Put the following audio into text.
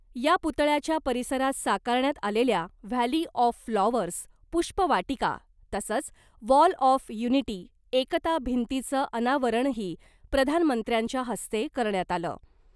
या पुतळ्याच्या परिसरात साकारण्यात आलेल्या व्हॅली ऑफ फ्लॉवर्स पुष्पवाटिका तसंच वॉल ऑफ युनिटी एकता भिंतीचं अनावरणही प्रधानमंत्र्यांच्या हस्ते करण्यात आलं .